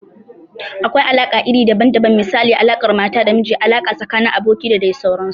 Akwai alaƙa iri daban daban misali, alaƙar mata da miji, alaƙa tsakanin abokai da dai sauransu.